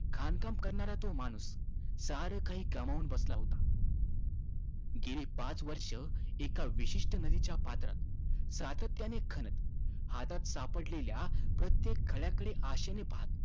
खाणकाम करणारा तो माणूस सारंकाही गमावून बसला होता. गेली पाच वर्षं एका विशिष्ट नदीच्या पात्रात सातत्याने खणत, हातात सापडलेल्या प्रत्येक खड्याकडे आशेने पहात होता.